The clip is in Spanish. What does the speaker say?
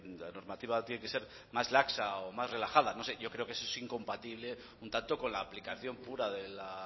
la normativa tiene que ser más laxa o más relajada no sé yo creo que eso es incompatible un tanto con la aplicación pura de la